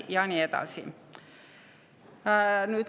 Ja nii edasi.